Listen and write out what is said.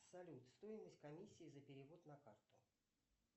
салют стоимость комиссии за перевод на карту